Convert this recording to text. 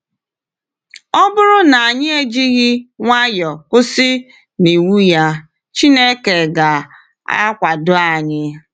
Ọ bụrụ na anyị ejighị nwayọ kwụsị n’iwu ya, Chineke ga-akwado anyị.